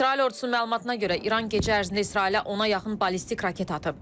İsrail ordusunun məlumatına görə İran gecə ərzində İsrailə ona yaxın ballistik raket atıb.